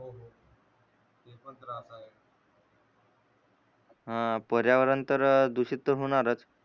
ह पर्यावरण तर दुषित होणारच